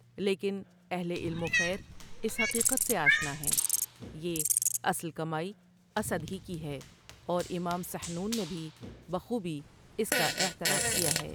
لیکن اہل علم وخیر اس حقیقت سے آشنا ہیں یہ اصل کمائی اسد ہی کی ہے اورامام سحنون نے بھی بخوبی اس کا اعتراف کیاہے۔